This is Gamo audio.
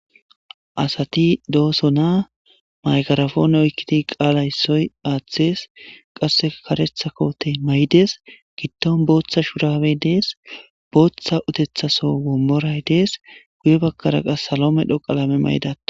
Asati do'osona maykarafone oykkidi qaalay soy aathes qasse karetha kote may'dees gidion bootha shurabe dees bootha utethaso womoray dees guye bakkara qas salo medho qalame mayda